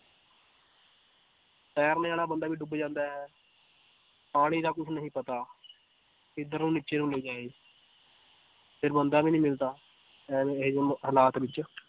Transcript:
ਤੈਰਨੇ ਵਾਲਾ ਬੰਦਾ ਵੀ ਡੁੱਬ ਜਾਂਦਾ ਹੈ ਪਾਣੀ ਦਾ ਕੁਛ ਨਹੀਂ ਪਤਾ ਕਿੱਧਰੋਂ ਨੀਚੇ ਨੂੰ ਲੈ ਜਾਏ ਫਿਰ ਬੰਦਾ ਵੀ ਨੀ ਮਿਲਦਾ ਐਵੇਂ ਇਹ ਜਿਹੇ ਹਾਲਾਤ ਵਿੱਚ